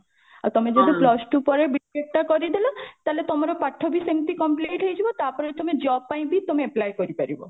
ଆଉ ତମେ ଯଦି plus two ପରେ B.TECH ଟା କରିଦେଲ ତାହେଲେ ତମର ପାଠ ବି ସେମିତି complete ହେଇଯିବ ତାପରେ ତମେ job ପାଇଁ ବି ତମେ apply କରିପାରିବ